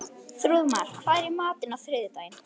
Þrúðmar, hvað er í matinn á þriðjudaginn?